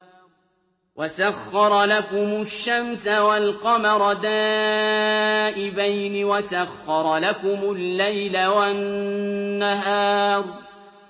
وَسَخَّرَ لَكُمُ الشَّمْسَ وَالْقَمَرَ دَائِبَيْنِ ۖ وَسَخَّرَ لَكُمُ اللَّيْلَ وَالنَّهَارَ